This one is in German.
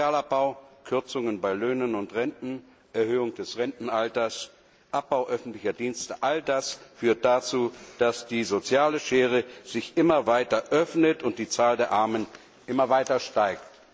Sozialabbau, Kürzungen bei Löhnen und Renten, Erhöhung des Rentenalters, Abbau öffentlicher Dienste, all das führt dazu, dass die soziale Schere sich immer weiter öffnet und die Zahl der Armen immer weiter steigt.